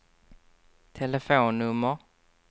telefonnummer